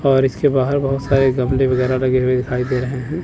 और इसके बाहर बहोत सारे गमले वायगेरा लगे हुए दिखाई दे रहे है।